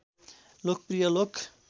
लोकप्रिय लोक